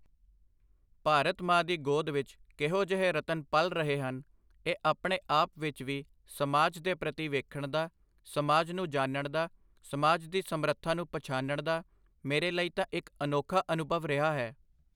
ਭਾਰਤ ਮਾਂ ਦੀ ਗੋਦ ਵਿੱਚ ਕਿਹੋ ਜਿਹੇ ਰਤਨ ਪਲ ਰਹੇ ਹਨ, ਇਹ ਆਪਣੇ ਆਪ ਵਿੱਚ ਵੀ ਸਮਾਜ ਦੇ ਪ੍ਰਤੀ ਵੇਖਣ ਦਾ, ਸਮਾਜ ਨੂੰ ਜਾਨਣ ਦਾ, ਸਮਾਜ ਦੀ ਸਮਰੱਥਾ ਨੂੰ ਪਛਾਨਣ ਦਾ, ਮੇਰੇ ਲਈ ਤਾਂ ਇਕ ਅਨੋਖਾ ਅਨੁਭਵ ਰਿਹਾ ਹੈ।